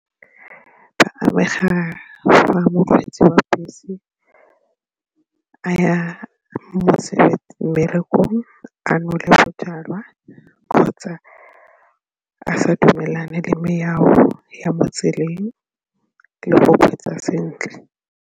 Ba amega fa mokgweetsi wa bese a ya mmerekong a nole bojalwa kgotsa a sa dumelane le melao ya mo tseleng le go kgweetsa sentle.